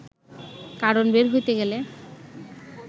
কারণ বের হইতে গেলে